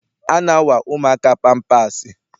A na-awa ụmụaka pampaasị.